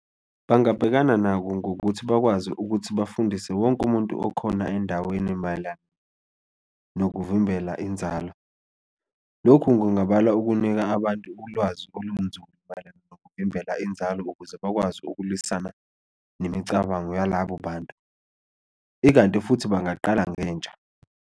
Bangabhekana nako ngokuthi bakwazi ukuthi bafundise wonke umuntu okhona endaweni mayelana nokuvimbela inzalo, lokhu kungabalwa ukunika abantu ulwazi olunzulu mayelana nokuvimbela inzalo ukuze bakwazi ukulwisana nemicabango yalabo bantu ikanti futhi bangaqala ngentsha.